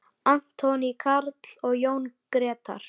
Anthony Karl og Jón Gretar.